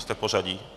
Jste v pořadí?